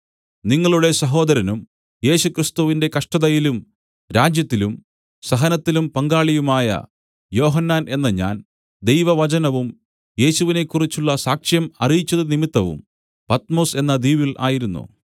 നിങ്ങളുടെ സഹോദരനും യേശു ക്രിസ്തുവിന്റെ കഷ്ടതയിലും രാജ്യത്തിലും സഹനത്തിലും പങ്കാളിയുമായ യോഹന്നാൻ എന്ന ഞാൻ ദൈവവചനവും യേശുവിനെക്കുറിച്ചുള്ള സാക്ഷ്യം അറിയിച്ചതു നിമിത്തവും പത്മൊസ് എന്ന ദ്വീപിൽ ആയിരുന്നു